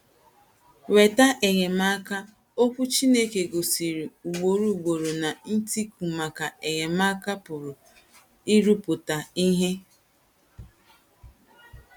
Nwetà enyemàka:Okwu Chineke gosiri ugboro ugboro na ‘ ntíku maka enyemaka ’ pụrụ ịrụpụta ihe.